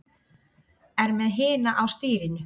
Er með hina á stýrinu.